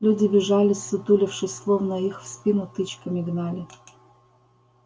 люди бежали ссутулившись словно их в спину тычками гнали